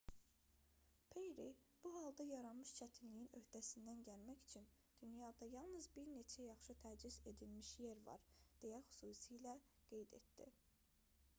perri bu halda yaranmış çətinliyin öhdəsindən gəlmək üçün dünyada yalnız bir neçə yaxşı təchiz edilmiş yer var deyə xüsusilə qeyd etdi